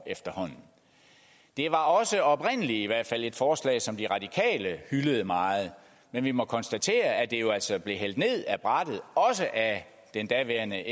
efterhånden det var også oprindelig i hvert fald et forslag som de radikale hyldede meget men vi må konstatere at det jo altså blev hældt ned ad brættet også af den daværende